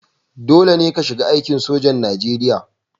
Dole ne ka shiga aikin sojan Najeriya